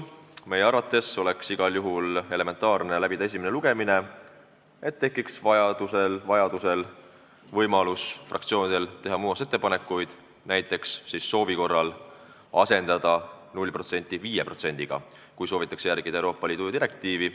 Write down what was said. Meie arvates oleks igal juhul elementaarne läbida esimene lugemine, et fraktsioonidel oleks võimalik teha muudatusettepanekuid, näiteks soovi korral asendada määr 0% määraga 5%, kui soovitakse järgida Euroopa Liidu direktiivi.